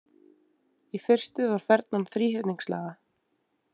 Í fyrstu var fernan þríhyrningslaga.